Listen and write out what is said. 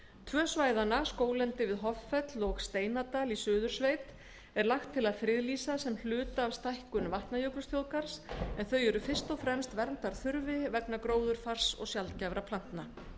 tvö svæðanna skóglendi við hoffell og steinadal í suðursveit á að friðlýsa sem hluta af stækkun vatnajökulsþjóðgarðs en þau eru fyrst og fremst verndarþurfi vegna gróðurfars og sjaldgæfra plantna